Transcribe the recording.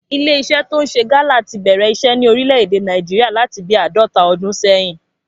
Ilé iṣẹ́ tó ń ṣe gálà tí bẹ̀rẹ̀ iṣẹ́ ní orílè èdè Nàìjíríà láti bí àádọ́ta ọdún sẹ́yìn